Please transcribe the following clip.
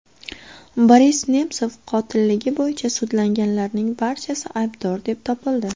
Boris Nemsov qotilligi bo‘yicha sudlanganlarning barchasi aybdor deb topildi.